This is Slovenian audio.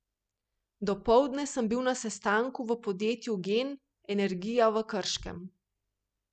Dopoldne sem bil na sestanku v podjetju Gen Energija v Krškem.